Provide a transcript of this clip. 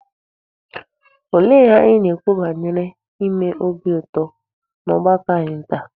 Olee ihe anyị na-ekwu banyere ime obi ụtọ n'ọgbakọ anyị taa?